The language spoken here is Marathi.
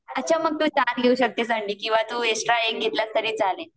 अच्छा मग तू चार घेऊ शकतेस अंडे किंवा तू एक्स्ट्रा एक घेतला तरी चालेल